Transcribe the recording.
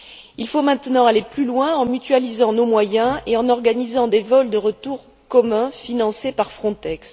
Il faut maintenant aller plus loin en mutualisant nos moyens et en organisant des vols de retour communs financés par Frontex.